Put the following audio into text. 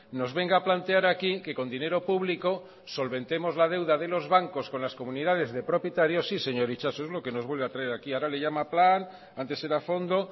nos venga a plantear aquí que con dinero público solventemos la deuda de los bancos con las comunidades de propietarios sí señor itxaso es lo que nos vuelve a traer aquí ahora le llama plan antes era fondo